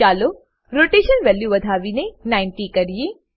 ચાલો rotation value વધાવીને 90 કરીએ